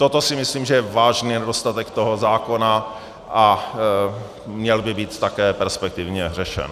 Toto si myslím, že je vážný nedostatek toho zákona, a měl by být také perspektivně řešen.